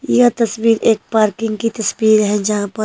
यह तस्वीर एक पार्किंग की तस्वीर है जहाँं पर--